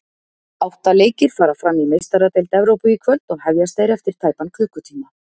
Átta leikir fara fram í Meistaradeild Evrópu í kvöld og hefjast þeir eftir tæpan klukkutíma.